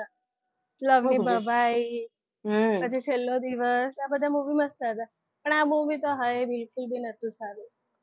લવની ભવાઈ પછી છેલ્લો દિવસ આ બધા movie મસ્ત હતા પણ આવી તો હા બિલકુલ પી નતું સારું.